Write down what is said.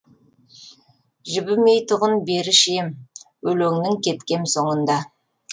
жібімейтұғын беріш ем өлеңнің кеткем соңында